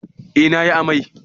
Eh na yi amai